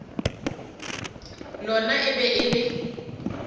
lona e be e le